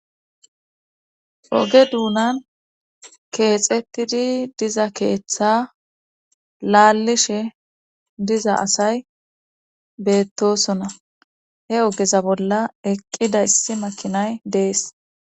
Oge duunan keexettidi diza keeththa laalishe diza asay beettosona he ogeza bolla eqqida issi makinay dees.